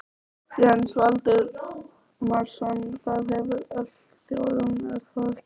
Jens Valdimarsson: Það hefur öll þjóðin, er það ekki?